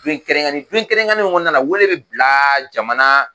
don kɛrɛnkɛrɛnen, don kɛrɛnkɛrɛnnen mun kɔnɔna na wele bɛ bila jamana